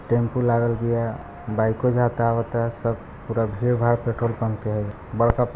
tempo लागल भी हेय बाइको जाता आवाता हेय सब पूरा भीड़ भाड़ पेट्रोल पम्प पर हेय बड़का --